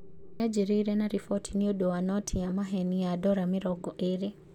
Yanjĩrĩirie na riboti nĩũndũ wa noti ya maheeni ya Dora mĩrongo ĩrĩ.